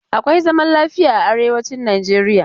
Akwai zaman lafiya a arewacin Nijeriya.